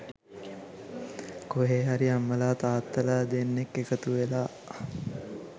කොහේ හරි අම්මලා තාත්තලා දෙන්නෙක් එකතුවෙලා.